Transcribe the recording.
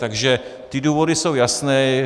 Takže ty důvody jsou jasné.